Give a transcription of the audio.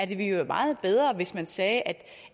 det være meget bedre hvis man sagde at